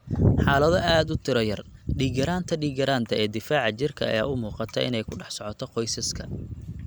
Xaalado aad u tiro yar, dhiig-yaraanta dhiig-yaraanta ee difaaca jirka ayaa u muuqata inay ku dhex socoto qoysaska.